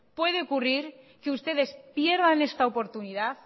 que ustedes pierdan esta oportunidad